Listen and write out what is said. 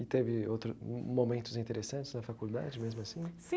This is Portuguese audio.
E teve outro momentos interessantes na faculdade mesmo assim?